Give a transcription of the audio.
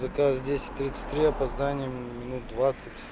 заказ десять тридцать три опоздание минут двадцать